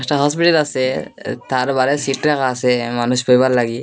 একটা হসপিটাল আসে তার বাইরে সিট রাখা আসে মানুষ বইবার লাগি।